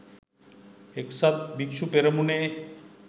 එක්සත් භික්‍ෂු පෙරමුණේ